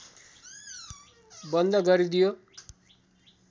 बन्द गरिदियो